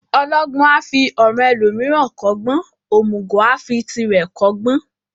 Ọlọgbọ́n a fi ọ̀ràn ẹlòmíràn kọ́gbọ́n, òmùgọ̀ a fi tirẹ̀ kọ́gbọ́n.